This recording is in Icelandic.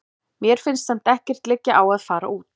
Mér finnst samt ekkert liggja á að fara út.